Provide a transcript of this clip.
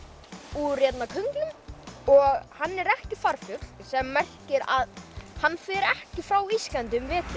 úr könglum og hann er ekki farfugl sem merkir að hann fer ekki frá Íslandi um vetur